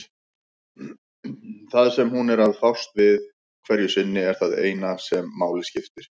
Það sem hún er að fást við hverju sinni er það eina sem máli skiptir.